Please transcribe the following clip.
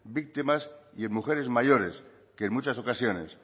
víctimas y en mujeres mayores que en muchas ocasiones